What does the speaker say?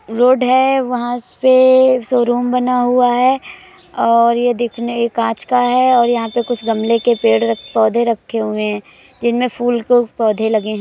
Road है। वहाँ पे शोरुम बना हुआ है और ये दिखने ये काँच का है और यहाँ पे कुछ गमले के पेड़ रख पौधे रखे हुए है जिनमें फूल के पौधे लगे है।